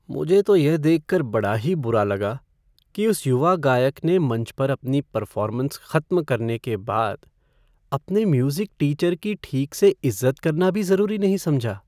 मुझे तो यह देखकर बड़ा ही बुरा लगा कि उस युवा गायक ने मंच पर अपनी परफ़ॉर्मेंस खत्म करने के बाद अपने म्यूज़िक टीचर की ठीक से इज़्ज़त करना भी ज़रूरी नहीं समझा।